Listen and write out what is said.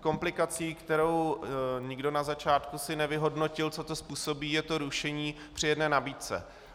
komplikací, kterou nikdo na začátku si nevyhodnotil, co to způsobí, je to rušení při jedné nabídce.